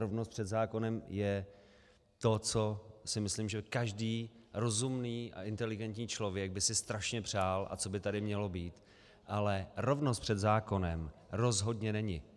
Rovnost před zákonem je to, co si myslím, že každý rozumný a inteligentní člověk by si strašně přál a co by tady mělo být, ale rovnost před zákonem rozhodně není.